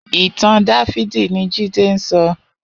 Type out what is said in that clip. Itàn Dàfidi ni Jide n sò